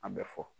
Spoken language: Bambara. An bɛ fɔ